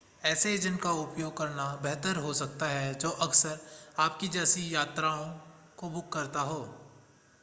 ऐसे एजेंट का उपयोग करना बेहतर हो सकता है जो अक्सर आपकी जैसी यात्राओं को बुक करता हो